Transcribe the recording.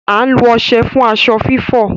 À n lo ọṣẹ fun aṣọ fifọ